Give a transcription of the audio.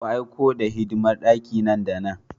Ku aiko the hidimar daki nan da nan!